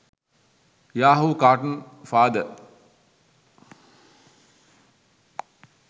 yahoo cartoon father